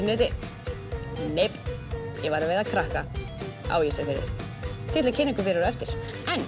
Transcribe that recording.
neti nei ég var að veiða krakka á Ísafirði til þess að kynna ykkur fyrir á eftir